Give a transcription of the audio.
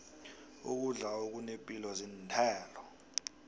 ukudla okunepilo zinthelo